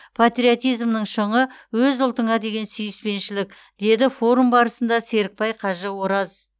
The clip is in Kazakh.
патриотизмнің шыңы өз ұлтыңа деген сүйіспеншілік деді форум барысында серікбай кажы ораз